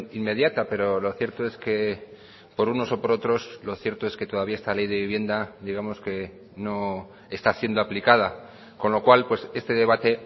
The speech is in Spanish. inmediata pero lo cierto es que por unos o por otros lo cierto es que todavía esta ley de vivienda digamos que no está siendo aplicada con lo cual este debate